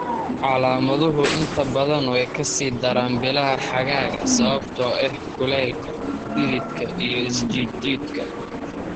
Calaamaduhu inta badan way ka sii daraan bilaha xagaaga sababtoo ah kulaylka, dhididka iyo is jiid jiidka.